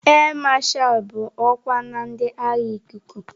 Áà Masha bụ ọkwa na ndị agha ikuku.